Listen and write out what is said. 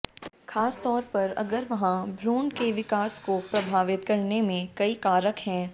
खास तौर पर अगर वहाँ भ्रूण के विकास को प्रभावित करने में कई कारक हैं